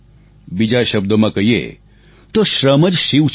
બીજા શબ્દોમાં કહીએ તો શ્રમ જ શિવ છે